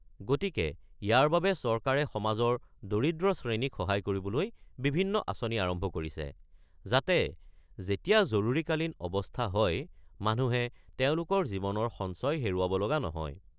গতিকে ইয়াৰ বাবে চৰকাৰে সমাজৰ দৰিদ্ৰ শ্ৰেণীক সহায় কৰিবলৈ বিভিন্ন আঁচনি আৰম্ভ কৰিছে; যাতে যেতিয়া জৰুৰীকালীন অৱস্থা হয়, মানুহে তেওঁলোকৰ জীৱনৰ সঞ্চয় হেৰুৱাব লগা নহয়।